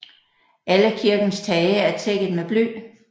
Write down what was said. Alle kirkens tage er tækket med bly